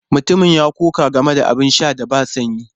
Mutumin ya ƙoƙa game da abin sha da ba sanyi.